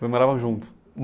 Vocês moravam juntos?